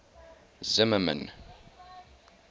zimmermann